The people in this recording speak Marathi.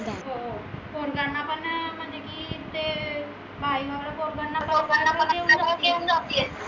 हो हो पोरांना पन म्हनजे की ते अह बाई वगैरे